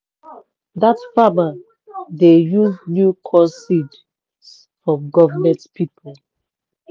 dat farmer dey use new corn seeds from government people.